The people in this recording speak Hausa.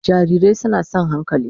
Jarirai suna son hankali